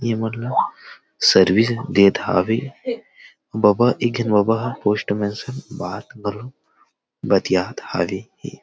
ये मन ल सर्विस देत हवे बाबा एक बाबा ह पोस्ट में से बात घलो बतियात हवे हे।